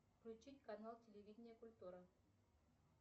включить канал телевидения культура